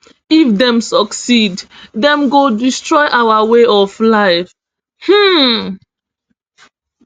if dem succeed dem go destroy our way of life um